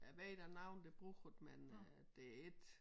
Jeg ved der noge der bruger det men øh det ik